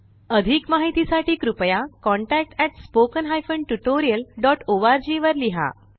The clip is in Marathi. अधिक माहिती साठी कृपया contactspoken tutorialorg वर लिहा